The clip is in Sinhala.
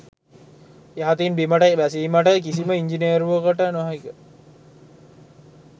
යහතින් බිමට බැසීමට කිසිම ඉන්ජිනේරුවකට නොහැක